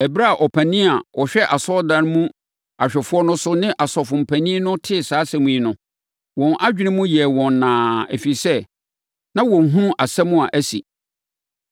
Ɛberɛ a ɔpanin a ɔhwɛ asɔredan mu awɛmfoɔ no so ne asɔfoɔ mpanin no tee saa asɛm yi no, wɔn adwene mu yɛɛ wɔn nnaa, ɛfiri sɛ, na wɔnhunu asɛm a asi.